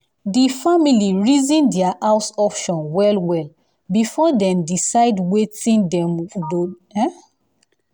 the family reason their house options well-well before dem decide wetin them go